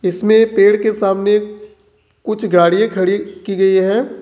इसमें पेड़ के सामने कुछ गाड़ियां खड़ी की गई है।